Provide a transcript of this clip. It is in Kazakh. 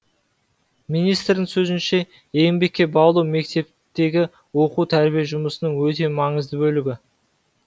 министрдің сөзінше еңбекке баулу мектептегі оқу тәрбие жұмысының өте маңызды бөлігі